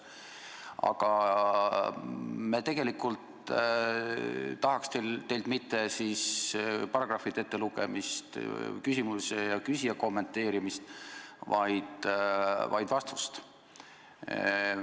Aga me tegelikult ei taha teilt mitte paragrahvide ettelugemist, küsimuse ja küsija kommenteerimist, vaid vastust.